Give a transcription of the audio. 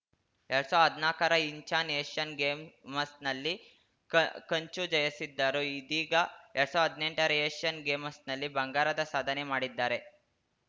ಎರಡ್ ಸಾವ್ರ್ದಾ ಹದ್ನಾಕರ ಇಂಚಾನ್‌ ಏಷ್ಯನ್‌ ಗೇಮ್ ಮಸ್ ನಲ್ಲಿ ಕಂಚು ಜಯಿಸಿದ್ದರು ಇದೀಗ ಎರಡ್ ಸಾವ್ರ್ದಾ ಹದ್ನೆಂಟರ ಏಷ್ಯನ್‌ ಗೇಮಸ್ ನಲ್ಲಿ ಬಂಗಾರದ ಸಾಧನೆ ಮಾಡಿದ್ದಾರೆ